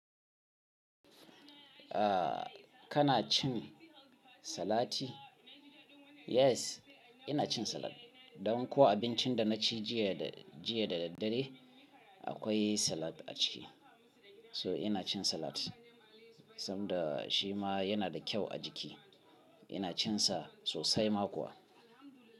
Ah, kana cin salati? Yes, ina cin salad. Dan ko abincin da na ci jiya da, jiya da daddare akwai salad a ciki. Ina cin salat saboda shima yana da kyau a jiki. Ina cin sa sosai ma kuwa.